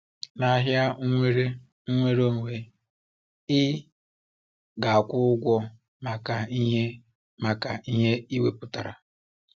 N’ahịa nwere nnwere onwe, ị ga-akwụ ụgwọ maka ihe maka ihe i wepụtara.